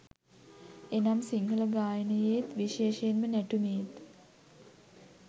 එනම් සිංහල ගායනයේත්, විශේෂයෙන්ම නැටුමේත්